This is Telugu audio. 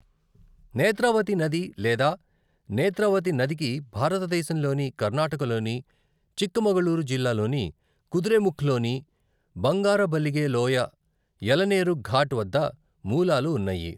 నేత్రావతి నది లేదా నేత్రావతి నదికి భారతదేశంలోని కర్ణాటకలోని చిక్కమగళూరు జిల్లాలోని కుద్రేముఖ్లోని బంగారబలిగె లోయ, యలనేరు ఘాట్ వద్ద మూలాలు ఉన్నాయి.